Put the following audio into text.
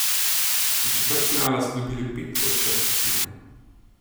Do četrtfinala so dobili pet od šestih tekem.